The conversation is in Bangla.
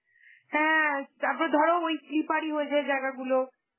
হ্যাঁ তারপর ধরো ওই slippery হয়ে যায় ওই জায়গা গুলো.